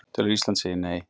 Telur að Ísland segi Nei